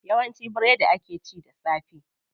Yawanci biredi akw ci da safe.